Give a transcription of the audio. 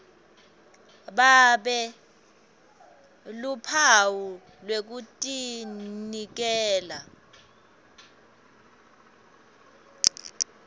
babe luphawu lwekutinikela